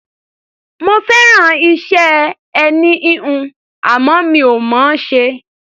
Mo fẹ́ràn iṣẹ́ ẹní-híhun, àmọ́ mi ò mọ̀ ọ́n ṣe.